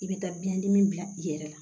I bɛ taa biyɛn dimi bila i yɛrɛ la